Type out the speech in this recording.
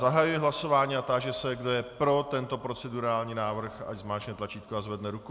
Zahajuji hlasování a táži se, kdo je pro tento procedurální návrh, ať zmáčkne tlačítko a zvedne ruku.